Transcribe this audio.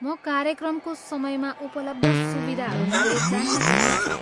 म कार्यक्रमको समयमा उपलब्ध सुविधाहरूबारे जान्न चाहन्छु।